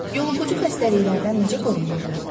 Yoluxucu xəstəliklərdən necə qorunmaq olar?